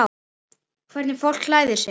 Hvernig fólk klæðir sig.